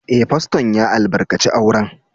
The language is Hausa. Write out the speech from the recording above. Eh, Fasto'n ya albarkace auren.